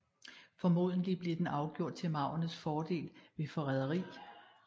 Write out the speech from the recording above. Formodentlig blev den afgjort til maurernes fordel ved forræderi